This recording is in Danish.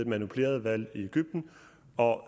manipuleret valg i egypten og